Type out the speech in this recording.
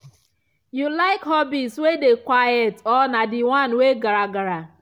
you like hobbies way dey quiet or na d one we gragra